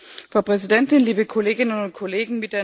Frau Präsidentin, liebe Kolleginnen und Kollegen!